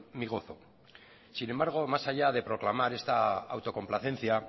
mi gozo sin embargo más allá de proclamar esta autocomplacencia